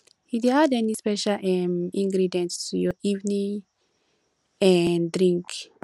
you dey add any special um ingredient to your evening um drink